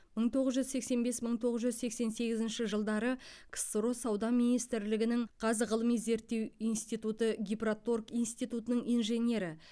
мың тоғыз жүз сексен бес мың тоғыз жүз сексен сегізінші жылдары ксро сауда министрлігінің қазғылыми зерттеу институты гипроторг институтының инженері